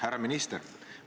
Härra minister!